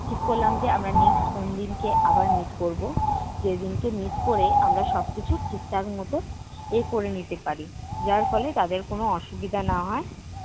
ঠিক করলাম যে আমার আমরা next কোনদিনকে আবার meet করবো, যেদিনকে meet করে আমরা সব কিছু ঠিক-ঠাক মতো করে নিতে পারি, যার ফলে তাদের কোনো অসুবিধা না হয়